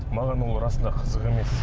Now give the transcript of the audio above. маған ол расында қызық емес